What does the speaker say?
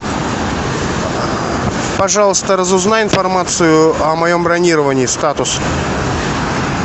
пожалуйста разузнай информацию о моем бронировании статус